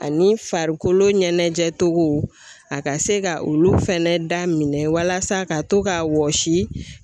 Ani farikolo ɲɛnajɛcogo a ka se ka olu fɛnɛ da minɛ walasa ka to ka wɔsi.